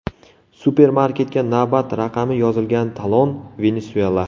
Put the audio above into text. Supermarketga navbat raqami yozilgan talon, Venesuela.